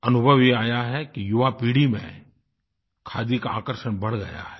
अनुभव ये आया है कि युवापीढ़ी में खादी का आकर्षण बढ़ गया है